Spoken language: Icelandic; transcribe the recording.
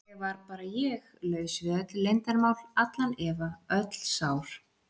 Ég var bara ég, laus við öll leyndarmál, allan efa, öll sár.